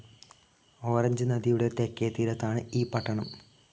ഓറഞ്ച്നദിയുടെ തെക്കേ തീരത്താണ് ഈ പട്ടണം.